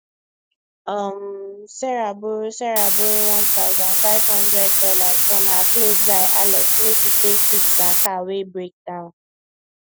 um sarah borrow sarah borrow one thousand five hundred dollars from her close guy alex make she take fix her car wey break down